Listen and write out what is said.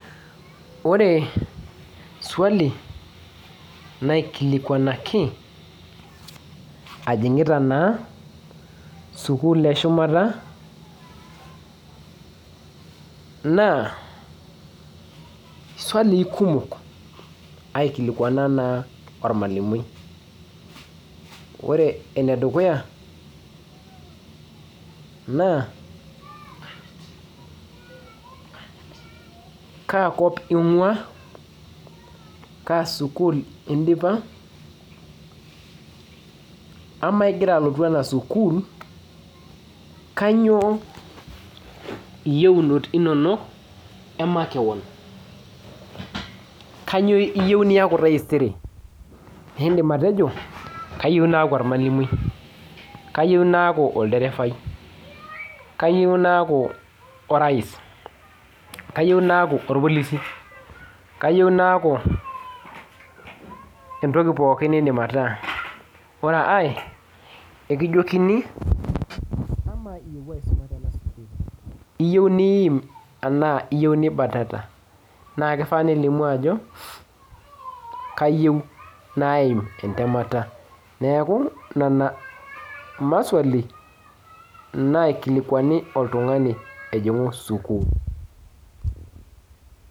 Ore swali naaikilikuanaki ajing'ita naa sukuul eshumata naa swalii kumok aikilikuana taa ormalimui naa kaa kop ing'uaa kaa sukuul indipa amaa ingira alotu ena sukuul kainyioo iyieunot inonok emakewon kainyioo iyieu niaku taisere iindim ataejo kayaieu naaku ormalimui ,kayieu naakiu olderefai, kayieu naaku orais kayieu naaku orpolisi kayieu naaku entoki pookin niidim ataa ore ae ekijokini kamaa iyeuo aisuma tena sukuul iyieu niiim enaa iyieu nibatata naa kifaa nilimu ajo kayieu naaim entemata neeku nena maswali naikilikuani oltung'ani egiraajing'u sukuul.